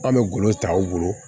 An bɛ golo ta u bolo